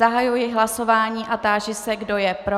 Zahajuji hlasování a táži se, kdo je pro.